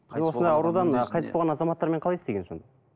осындай аурудан қайтыс болған азаматтармен қалай істеген сонда